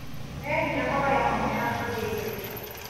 Wehia hoya mũhera kũrĩ Ngai